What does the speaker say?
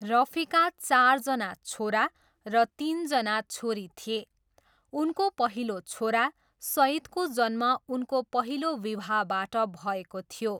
रफीका चारजना छोरा र तिनजना छोरी थिए, उनको पहिलो छोरा, सइदको जन्म उनको पहिलो विवाहबाट भएको थियो।